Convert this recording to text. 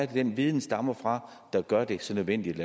den viden stammer fra der gør at det er så nødvendigt